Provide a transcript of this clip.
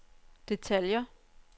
detaljer